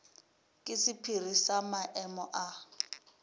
ke sephiri sa maemo a